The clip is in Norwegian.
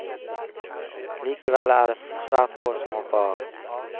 Likevel er det svært få som hopper av.